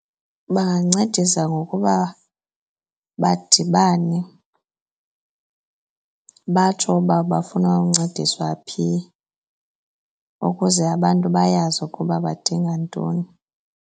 Bangancedisa ngokuba badibane batsho uba bafuna uncediswa phi ukuze abantu bayazi ukuba badinga ntoni.